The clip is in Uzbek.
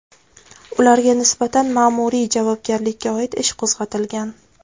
ularga nisbatan ma’muriy javobgarlikka oid ish qo‘zg‘atilgan.